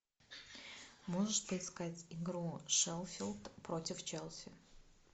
можешь поискать игру шеффилд против челси